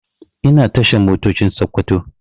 Ina tashar Motocin Sakkwato